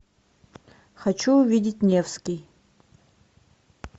хочу увидеть невский